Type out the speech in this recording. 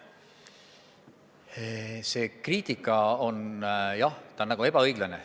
See kriitika on nagu ebaõiglane.